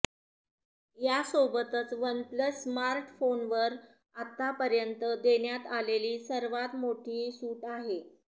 यासोबतच OnePlus स्मार्टफोनवर आत्तापर्यंत देण्यात आलेली सर्वात मोठी सूत आहे